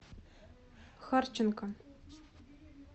харченко